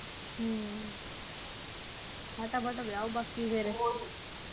ਹਮ ਫਟਾਫਟ ਵਿਆਹੋ ਬਾਕੀ ਫੇਰ